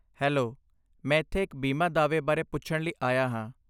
Hello, ਮੈਂ ਇੱਥੇ ਇੱਕ ਬੀਮਾ ਦਾਅਵੇ ਬਾਰੇ ਪੁੱਛਣ ਲਈ ਆਇਆ ਹਾਂ।